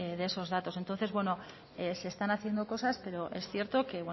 de esos datos entonces bueno se están haciendo cosas pero es cierto